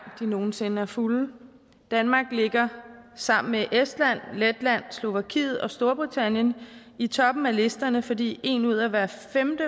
de nogensinde er fulde danmark ligger sammen med estland letland slovakiet og storbritannien i toppen af listerne fordi en ud af hver femte